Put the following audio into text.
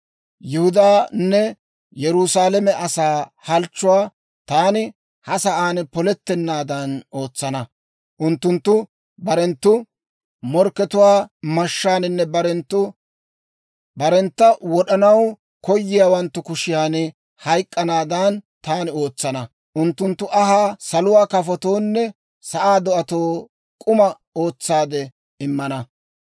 «‹ «Yihudaanne Yerusaalame asaa halchchuwaa taani ha sa'aan polettenaadan ootsana. Unttunttu barenttu morkkatuwaa mashshaaninne barentta wod'anaw koyiyaawanttu kushiyan hayk'k'anaadan taani ootsana. Unttunttu anhaa saluwaa kafotoonne sa'aa do'atoo k'uma ootsaade immana.